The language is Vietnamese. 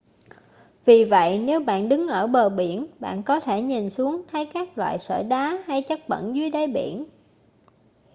vì vậy nếu bạn đứng ở bờ biển bạn có thể nhìn xuống thấy các loại sỏi đá hay chất bẩn dưới đáy biển